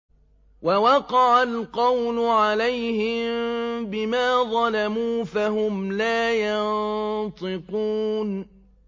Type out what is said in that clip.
وَوَقَعَ الْقَوْلُ عَلَيْهِم بِمَا ظَلَمُوا فَهُمْ لَا يَنطِقُونَ